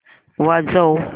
वाजव